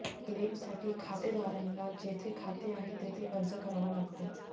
क्लेमसाठी खातेदारांला जेथे खाते आहे तेथे अर्ज करावा लागतो